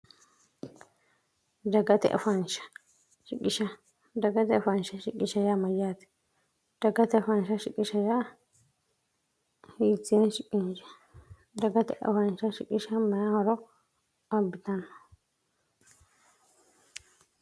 daggate afaansha shiqishaja mayyaati dagate faansha shiqishaa hiie siie daggate afaansha shiqisha mayahoro abbitanno